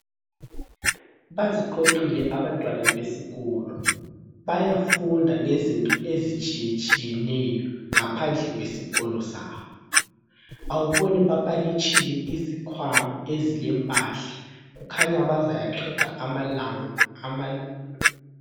Baziqoqile abantwana besikolo. Bayafunda ngezinto ezitshiyetshiyeneyo ngaphandle kwesikolo sabo. Awuboni bapakitshile izikhwama ezilempahla. Kukhanya bazayaqeda amalanga ama.